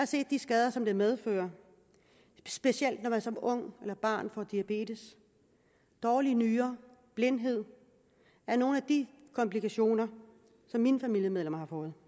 set de skader som den medfører specielt når man som ung eller som barn får diabetes dårlige nyrer og blindhed er nogle af de komplikationer som mine familiemedlemmer har fået